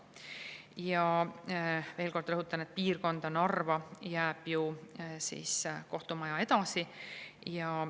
Ja veel kord rõhutan, et piirkonda, Narva jääb ju kohtumaja edasi.